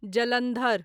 Jalandhar